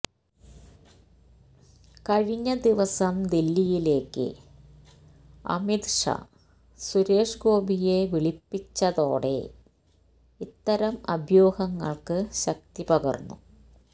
കഴിഞ്ഞ ദിവസം ദില്ലിയിലേക്ക് അമിത് ഷാ സുരേഷ് ഗോപിയെ വിളിപ്പിച്ചതോടെ ഇത്തരം അഭ്യൂഹങ്ങള്ക്ക് ശക്തി പകര്ന്നു